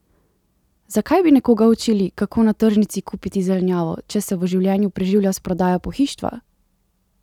Zakaj bi nekoga učili, kako na tržnici kupiti zelenjavo, če se v življenju preživlja s prodajo pohištva?